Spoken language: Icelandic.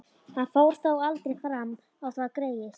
Hann fór þó aldrei fram á það, greyið.